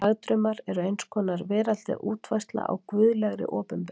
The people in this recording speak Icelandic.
Dagdraumar eru eins konar veraldleg útfærsla á guðlegri opinberun.